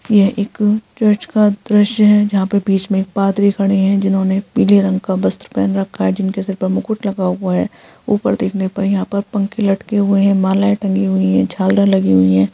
यहँ एक चर्च का दृश्य है जहाँ पे बीच में एक पादरी खड़े है जिन्होंने पीले रंग का वस्त्र पहन रखा है जिनके सर पर मुकुट लगा हुआ है। ऊपर देखने पर यहाँ पर पंखे लटके हुए है मालाएं टंगी हुई है झालर लगी हुई है।